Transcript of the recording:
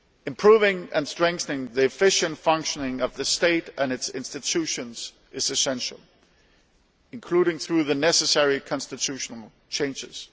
Improving and strengthening the efficient functioning of the state and its institutions is essential, including through the necessary constitutional changes.